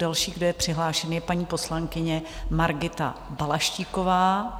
Další, kdo je přihlášen, je paní poslankyně Margita Balaštíková.